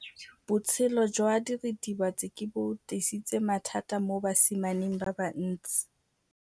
Botshelo jwa diritibatsi ke bo tlisitse mathata mo basimaneng ba bantsi.